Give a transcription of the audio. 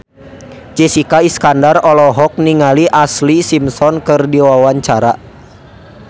Jessica Iskandar olohok ningali Ashlee Simpson keur diwawancara